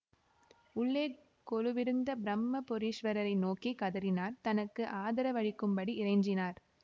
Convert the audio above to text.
உள்ளே கொலுவிருந்த பிரும்மபுரீஸ்வரரை நோக்கி கதறினார் தனக்கு ஆதரவளிக்கும்படி இறைஞ்சினார்